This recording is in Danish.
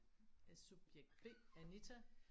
Subjekt B Anita